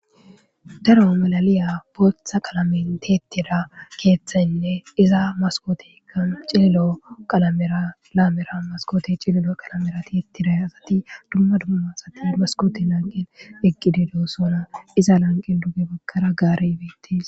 Daro malaliya booththa qalamin tiettira keeththenne iza maskootika cililo qalamira laamera maskoti cililo qalamera ti ittira asati dumma dumma sati maskooti lanqin eqqidido sona iza lanqin duge bakkara gaarebetis